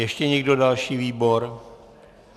Ještě někdo další výbor?